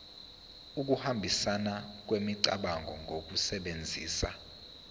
ukuhambisana kwemicabango ngokusebenzisa